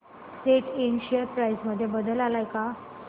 सॅट इंड share price मध्ये बदल आलाय का